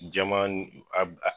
Jama n a a